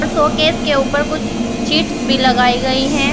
Showcase के ऊपर कुछ चिप्स भी लगाई गई है।